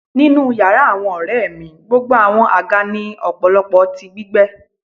Ninu yara awọn ọrẹ mi gbogbo awọn aga ni ọpọlọpọ ti gbígbẹ